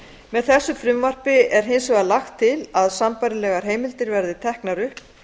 með þessu frumvarpi er hins vegar lagt til að sambærilegar heimildir verði teknar upp